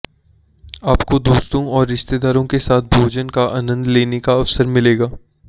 आपको दोस्तों और रिश्तेदारों के साथ भोजन का आनंद लेने का अवसर मिलेगा